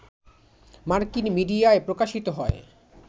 মার্কিন মিডিয়ায় প্রকাশিত হয়